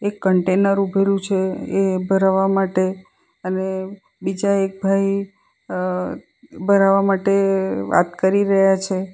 એક કન્ટેનર ઉભેલુ છે એ ભરવા માટે અને બીજા એક ભાઈ અહ ભરાવવા માટે વાત કરી રહ્યા છે.